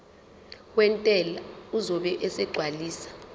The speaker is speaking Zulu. wentela uzobe esegcwalisa